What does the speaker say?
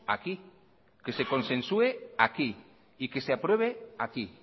aquí que se consensue aquí y que se apruebe aquí